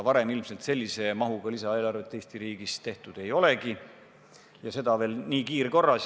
Varem sellise mahuga lisaeelarvet Eesti riigis ilmselt tehtud ei olegi, ja seda veel nii kiirkorras.